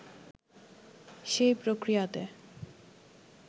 সেই প্রক্রিয়াতে